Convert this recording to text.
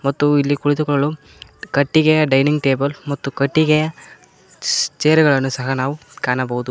ಮತ್ತು ಅಲ್ಲಿ ಕುಳಿತುಕೊಳ್ಳಲು ಕಟ್ಟಿಗೆಯ ಡೈನಿಂಗ್ ಟೇಬಲ್ ಮತ್ತು ಕಟ್ಟಿಗೆಯ ಸ್ ಚೇರ್ ಗಳನ್ನು ಸಹ ನಾವು ಕಾಣಬೋದು.